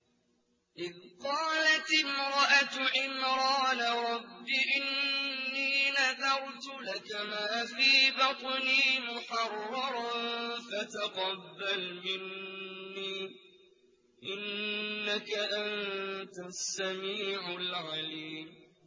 إِذْ قَالَتِ امْرَأَتُ عِمْرَانَ رَبِّ إِنِّي نَذَرْتُ لَكَ مَا فِي بَطْنِي مُحَرَّرًا فَتَقَبَّلْ مِنِّي ۖ إِنَّكَ أَنتَ السَّمِيعُ الْعَلِيمُ